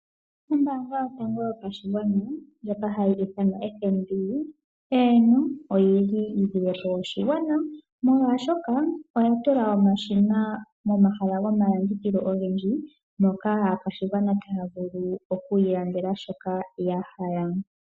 Ombaanga yotango yopashigwana ndjoka hayi ithanwa oFNB, eeno, oyi lile po oshigwana, molwashoka oya tula omashina momahala gomalandithilo ogendji moka aakwashigwana taya vulu okuilandela shoka ya hala.